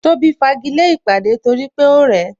Tóbi fagile ìpàdé torí pé ó rẹ̀ ẹ